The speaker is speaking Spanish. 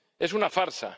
Es una farsa.